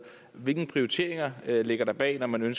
hvilke prioriteringer ligger der bag når man